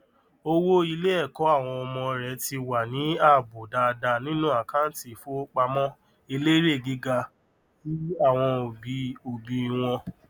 owó iléẹkọ àwọn ọmọ rẹ ti wà ní ààbò dáadáa nínú àkáńtì ifowópamọ elérè gíga tí àwọn òbí òbí wọn